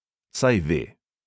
Saj ve.